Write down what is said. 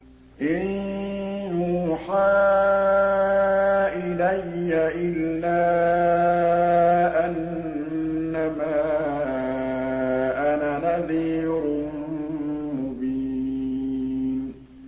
إِن يُوحَىٰ إِلَيَّ إِلَّا أَنَّمَا أَنَا نَذِيرٌ مُّبِينٌ